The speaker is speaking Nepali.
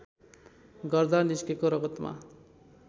गर्दा निस्केको रगतमा